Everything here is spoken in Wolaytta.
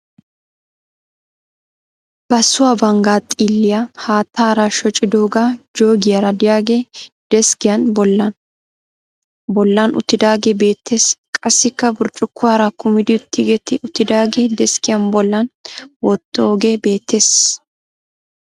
Bassuwa banggaa xiilliya haattaara shocidooga joogiyara diyage deskkiyan bollan uttidaage beettes. Qassikka burccukkuwara kumidi tigetti uttidaage deskkiyan bollan wottooge beettes.